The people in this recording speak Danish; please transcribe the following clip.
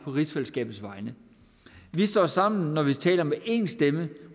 rigsfællesskabets vegne vi står sammen når vi taler med en stemme